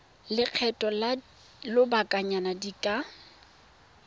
lekgetho la lobakanyana di ka